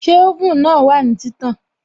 Ṣé oven náà wà ní títàn?